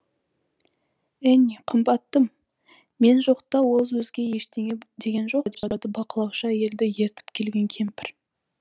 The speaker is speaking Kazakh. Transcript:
энни қымбаттым мен жоқта ол өзге ештеңе деген жоқ па деп бақылаушы әйелді ертіп келген кемпір